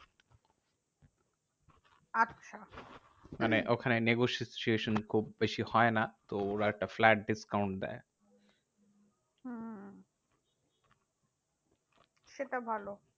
আচ্ছা মানে ওখানে negotiation খুব বেশি হয় না। তো ওরা একটা flat discount দেয়। হম হম সেটা ভালো।